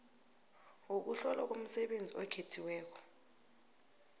wokuhlolwa komsebenzi okhethiweko